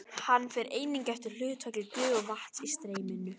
Hann fer einnig eftir hlutfalli gufu og vatns í streyminu.